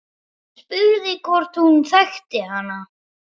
Hann spurði hvort hún þekkti hana.